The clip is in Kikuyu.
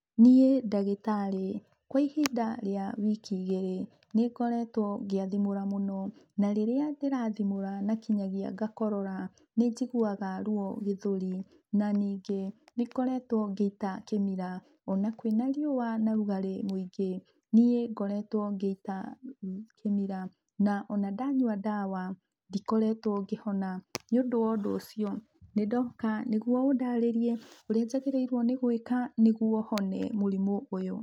Niĩ ndagĩtarĩ, kwa ihinda rĩa wiki igĩrĩ, nĩngoretwo ngĩathimũra mũno, na rĩrĩa ndĩrathimũra na kinyagia ngakorora nĩnjiguaga ruo gĩthũri, na ningĩ, nĩngoretwo ngĩita kĩmira, ona kwĩna riũa na rugarĩ mũingĩ, niĩ ngoretwo ngĩita kĩmira. Na ona ndanyua ndawa, ndikoretwo ngĩhona. Niũndũ wa ũndũ ũcio, nĩndoka nĩguo ũndarĩrie ũrĩa njagĩrĩirwo nĩ gwĩka nĩguo hone mũrimũ ũyũ.